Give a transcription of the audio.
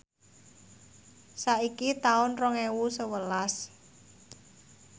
saiki taun rong ewu sewelas